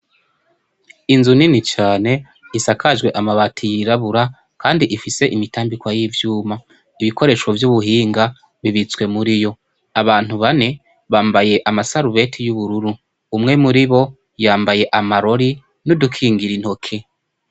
Inzu nini cane isakajwe amabati yirabura kandi ifise imitambikwa y'ivyuma. Ibikoresho vy'ubuhinga bibitswe muriyo. Abantu bane bambaye amasarubete y'ubururu, umwe muribo yambaye amarori n'udukingira intoke.